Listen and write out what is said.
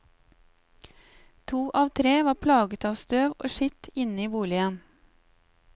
To av tre var plaget av støv og skitt inne i boligen.